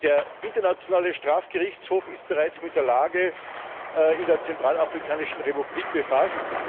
Der Internationale Strafgerichtshof ist bereits mit der Lage in der Zentralafrikanischen Republik befasst.